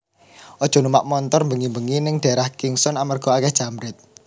Ojo numpak montor mbengi mbengi ning daerah Kingston amarga akeh jambret